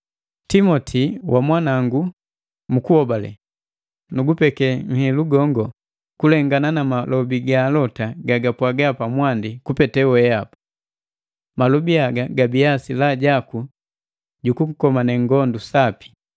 Timoti wamwanangu mu kuhobale, nugupeke nhilu gongo kulengana na malobi ga alota gabapwaga pa mwandi kupete wehapa. Malobi haga gabiya silaha jaku jukukomane ngondu sapi,